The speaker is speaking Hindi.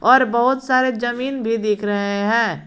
और बहुत सारे जमीन भी दिख रहे हैं।